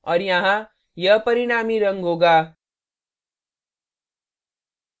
और यहाँ यह परिणामी रंग होगा